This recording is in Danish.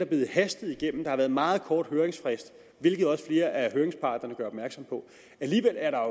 blevet hastet igennem der har været en meget kort høringsfrist hvilket også flere af høringsparterne gør opmærksom på alligevel er der